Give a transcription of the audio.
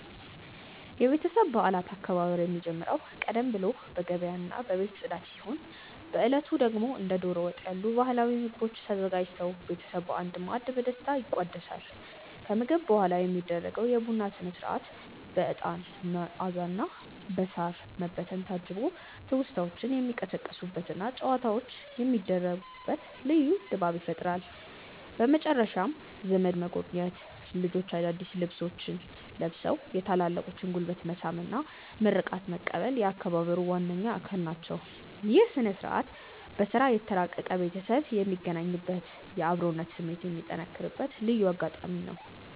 የቤተሰብ በዓላት አከባበር የሚጀምረው ቀደም ብሎ በገበያና በቤት ጽዳት ሲሆን፣ በዕለቱ ደግሞ እንደ ደሮ ወጥ ያሉ ባህላዊ ምግቦች ተዘጋጅተው ቤተሰብ በአንድ ማዕድ በደስታ ይቋደሳል። ከምግብ በኋላ የሚደረገው የቡና ሥነ-ሥርዓት በዕጣን መዓዛና በሳር መበተን ታጅቦ ትውስታዎች የሚቀሰቀሱበትና ጨዋታዎች የሚደሩበት ልዩ ድባብ ይፈጥራል። በመጨረሻም ዘመድ መጎብኘት፣ ልጆች አዳዲስ ልብሶቻቸውን ለብሰው የታላላቆችን ጉልበት መሳም እና ምርቃት መቀበል የአከባበሩ ዋነኛ አካል ናቸው። ይህ ሥነ-ሥርዓት በሥራ የተራራቀ ቤተሰብ የሚገናኝበትና የአብሮነት ስሜት የሚጠነክርበት ልዩ አጋጣሚ ነው።